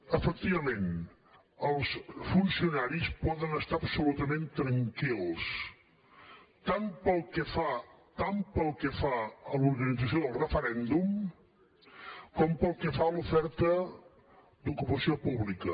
efectivament els funcionaris poden estar absolutament tranquils tant pel que fa a l’organització del referèndum com pel que fa a l’oferta d’ocupació pública